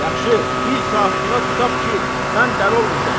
Yaxşı, bir saatlığa tutaq ki, mən dəli olmuşam.